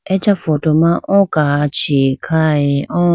acha photo ma oo kachi khaye oo.